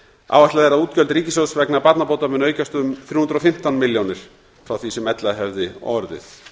áætlað er að útgjöld ríkissjóðs vegna barnabóta muni aukast um þrjú hundruð og fimmtán milljónir frá því sem ella hefði orðið